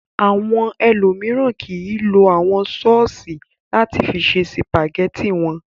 Àwọn ẹlòmíràn kì í lo àwọn sọ́ọ́sì láti fi ṣe sìpàgẹ́tì wọn.